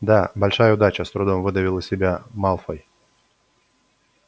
да большая удача с трудом выдавил из себя малфой